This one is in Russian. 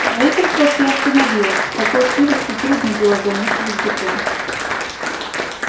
строительство приостановилось в такой сырости трудно было замешивать бетон